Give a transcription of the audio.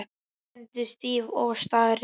Hún stendur stíf og starir.